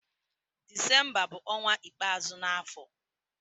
Disemba bu onwa ikpeazu na afo.